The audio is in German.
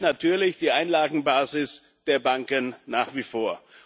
Das schwächt natürlich die Einlagenbasis der Banken nach wie vor.